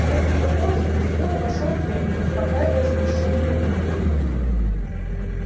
несколько позже визгун обошёл ферму успокаивая смущённые умы